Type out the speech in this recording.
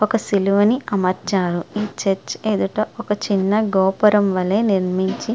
ఒక సిలువని అమర్చారు. చర్చి ఎదుట ఒక గోపురం వలె నిర్మించి--